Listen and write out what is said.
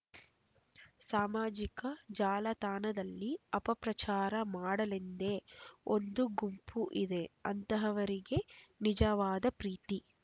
ಸಾಮಾಜಿಕ ಜಾಲತಾಣದಲ್ಲಿ ಅಪಪ್ರಚಾರ ಮಾಡಲೆಂದೇ ಒಂದು ಗುಂಪು ಇದೆ ಅಂತಹವರಿಗೆ ನಿಜವಾದ ಪ್ರೀತಿ